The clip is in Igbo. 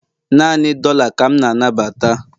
Naanị dollar ka m na-anabata